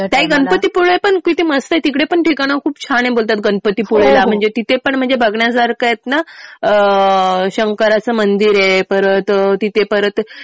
ताई गणपतीपुळे पण किती मस्त आहे. तिकडे पण ठिकाणं खूप छान आहे बोलतात गणपतीपुळेला. तिथे पण म्हणजे बघण्यासारखं आहे ना. शंकराचं मंदिर आहे. परत तिथे परत